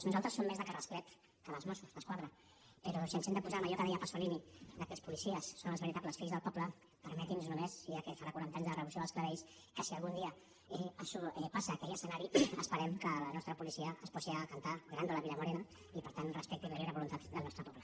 nosaltres som més de carrasclet que dels mossos d’esquadra però si ens hem de posar en allò que deia pasolini que els policies són els veritables fills del poble permeti’ns només ja que farà quaranta anys de la revolució dels clavells que si algun dia això passa aquell escenari esperem que la nostra policia es posi a cantar grandôla vila morena i per tant respecti la lliure voluntat del nostre poble